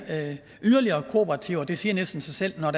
yderligere kooperativer det siger næsten sig selv at når